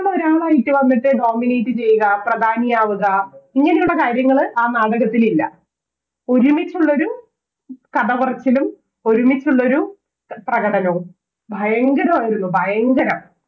ന്നഒരാളായിട്ട് ന്നിട്ട് എന്നിട്ട് Nominate ചെയ്യുക പ്രധാനിയാവുക ഇങ്ങനെയുള്ളൊരുകാര്യങ്ങൾ ആ നാടകത്തിലില്ല ഒരുമിച്ചുള്ളൊരു കഥപറച്ചിലും ഒരുമിച്ചുള്ളൊരു പ്രകടനവും ഭയങ്കരമായിരുന്നു ഭയങ്കരം